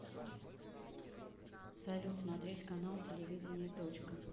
салют смотреть канал телевидения точка